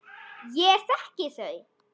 Ég þekki þau.